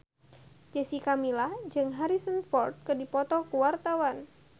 Jessica Milla jeung Harrison Ford keur dipoto ku wartawan